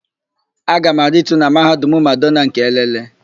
Aga m aritu na Mahadum Madonna nke Elele.